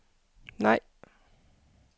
nej